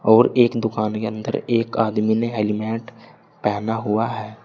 और एक दुकान के अंदर एक आदमी ने हेलमेट पहना हुआ है।